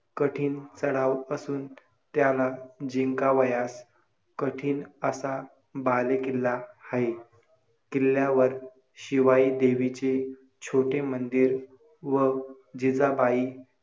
कठीण चढाव असून त्याला जिंकावयास कठीण असा बालेकिल्ला आहे. किल्ल्यावर शिवाई देवीचे छोटे मंदिर व जिजाबाई